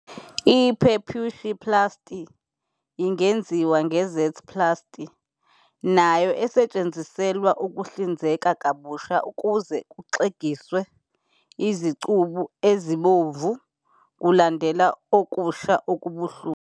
I-Preputioplasty ingenziwa nge- Z-plasty, nayo esetshenziselwa ukuhlinzeka kabusha ukuze kuxegise izicubu ezibomvu kulandela ukusha okubuhlungu.